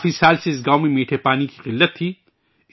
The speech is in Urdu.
کافی سال سے اس گاوں میں میٹھے پانی کی قلت تھی